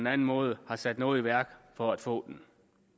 anden måde har sat noget i værk for at få den